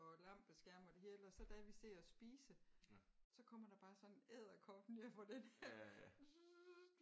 Og lampeskærm og det hele og så da vi sidder og spise så kommer der bare sådan en edderkop ned fra den her dsssst